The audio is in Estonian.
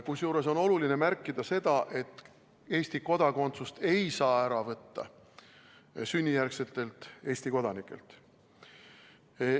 Kusjuures on oluline märkida seda, et Eesti kodakondsust ei saa ära võtta sünnijärgsetelt Eesti kodanikelt.